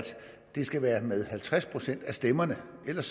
det skal være med halvtreds procent af stemmerne ellers